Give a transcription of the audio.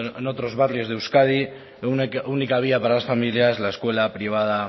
en otros barrios de euskadi única vía para las familias la escuela privada